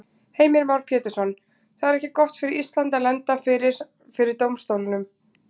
Heimir Már Pétursson: Það er ekki gott fyrir Ísland að lenda fyrir, fyrir dómstólnum?